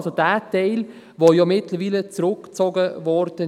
also jener Teil, der ja mittlerweile zurückgezogen wurde.